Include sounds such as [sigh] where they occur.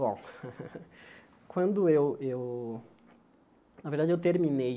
Bom, [laughs] quando eu eu... Na verdade, eu terminei